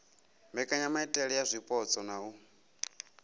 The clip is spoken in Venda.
mbekanyamaitele ya zwipotso na u